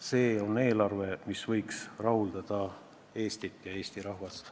See on eelarve, mis võiks rahuldada Eestit ja Eesti rahvast.